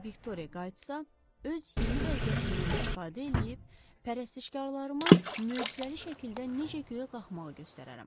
Əgər Viktoriya qayıtsa, öz yeni vəziyyətimdən istifadə eləyib, pərəstişkarlarıma möcüzəli şəkildə necə göyə qalxmağı göstərərəm.